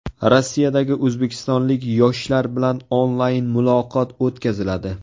Rossiyadagi o‘zbekistonlik yoshlar bilan onlayn muloqot o‘tkaziladi.